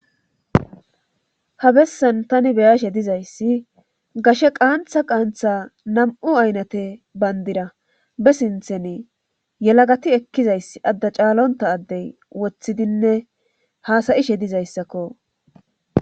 habessan tani beyashe dizayssi gashe qaantha qaantha nam7u aynate bayndira be sintheni yelagati ekkizayss adda caalonta addey woththidinne haasayishe dizayssakko